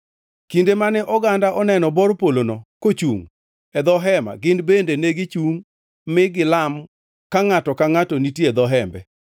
Kinde mane oganda oneno bor polono kochungʼ e dho Hema gin bende negichungʼ mi gilam ka ngʼato ka ngʼato nitie e dho Hembe.